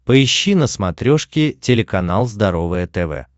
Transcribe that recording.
поищи на смотрешке телеканал здоровое тв